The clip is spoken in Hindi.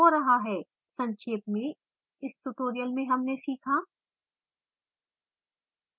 सक्षेप में इस tutorial में हमने सीखा: